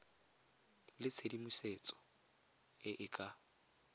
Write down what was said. le tshedimosetso e e ka